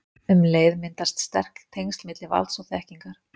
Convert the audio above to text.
Um leið myndast sterk tengsl milli valds og þekkingar.